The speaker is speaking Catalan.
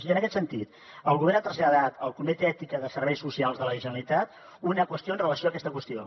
i en aquest sentit el govern ha traslladat al comitè d’ètica dels serveis socials de la generalitat una qüestió amb relació a aquesta qüestió